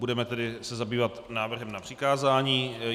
Budeme se tedy zabývat návrhem na přikázání.